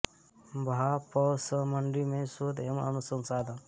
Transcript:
भा प्रौ सं मण्डी में शोध एवं अनुसंधान